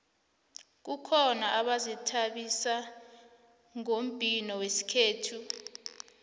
kukhona abazithabisa ngombhino wesikhethu